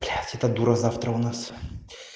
блять эта дура завтра у нас